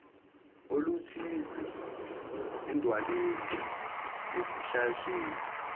oluthize edwaleni esihlahleni